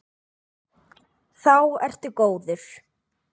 Þá ertu góður.